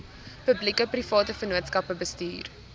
publiekeprivate vennootskappe bestuur